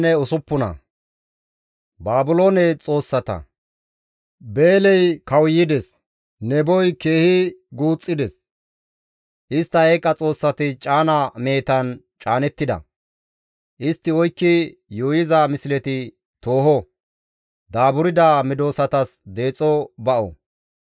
Beeley kawuyides; Neboy keehi guuxxides; istta eeqa xoossati caana mehetan caanettida; istti oykki yuuyiza misleti tooho; daaburda medosatas deexo ba7o.